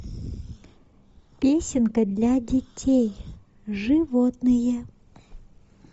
песенка для детей животные